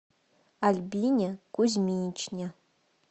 альбине кузьминичне